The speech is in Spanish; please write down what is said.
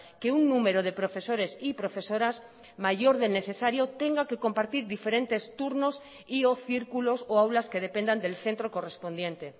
que un número de profesores y profesoras mayor del necesario tenga que compartir diferentes turnos y o círculos o aulas que dependan del centro correspondiente